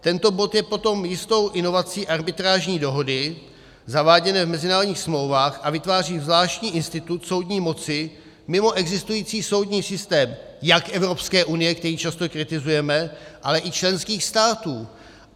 Tento bod je potom jistou inovací arbitrážní dohody zaváděné v mezinárodních smlouvách a vytváří zvláštní institut soudní moci mimo existující soudní systém jak Evropské unie, který často kritizujeme, ale i členských států.